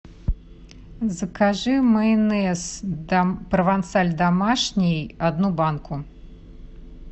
закажи майонез провансаль домашний одну банку